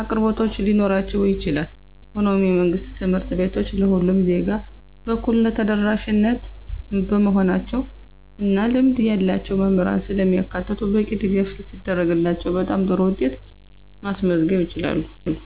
አቅርቦቶች ሊኖራቸው ይችላል። ሆኖም፣ የመንግሥት ትምህርት ቤቶች ለሁሉም ዜጋ በእኩልነት ተደራሽ በመሆናቸው እና ልምድ ያላቸው መምህራንን ስለሚያካትቱ በቂ ድጋፍ ሲደረግላቸው በጣም ጥሩ ውጤት ማስመዝገብ ይችላሉ።